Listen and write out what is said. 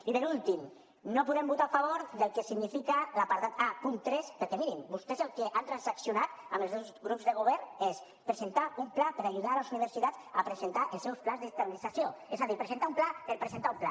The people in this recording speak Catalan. i per últim no podem votar a favor del que significa l’apartat aperquè mirin vostès el que han transaccionat amb els dos grups de govern és presentar un pla per ajudar les universitats a presentar els seus plans d’estabilització és a dir presentar un pla per presentar un pla